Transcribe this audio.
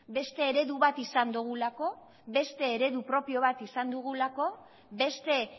beste eredu bat izan dugulako beste eredu propio bat izan dugulako beste